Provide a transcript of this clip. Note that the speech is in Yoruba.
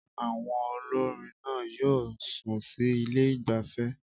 Àwọn olórin náà yóò sun sí ilé ìgbafẹ́